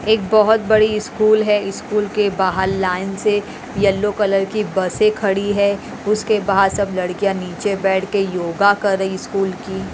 एक बहुत बड़ी स्कूल है स्कूल के बाहर लाइन से येलो कलर की बसें खड़ी है उसके बाहर सब लड़कियां नीचे बैठ के योगा कर रही स्कूल की--